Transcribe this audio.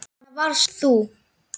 Já, svona varst þú.